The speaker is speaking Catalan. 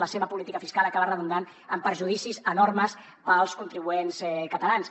la seva política fiscal acaba redundant en perjudicis enormes per als contribuents catalans